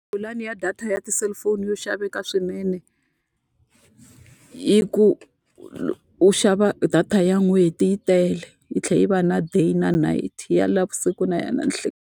Pulani ya data ya tiselifoni yo xaveka swinene, i ku u xava data ya n'hweti yi tele yi tlhela yi va na day na night. Ya navusiku na ninhlikani.